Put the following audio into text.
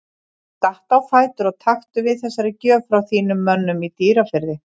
Stattu á fætur og taktu við þessari gjöf frá þínum mönnum í Dýrafirði.